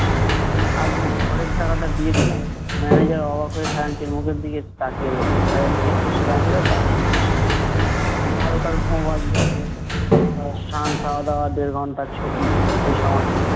আজকে খড়ের টাকাটা দিয়ে দিলাম। manager অবাক হয়ে খাজাঞ্চির মুখের দিকে তাকিয়ে রইলো। খাজাঞ্চি একটা সেলাম করে, বাইর হয়ে গেলো। বারোটার ভোঁ বাজলো। আহ সান খাওয়াদাওয়া দেড় ঘন্টার ছুটি এসময়।